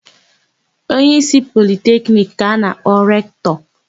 Onyeísí Politekiniki ka a na-akpọ Rektọ.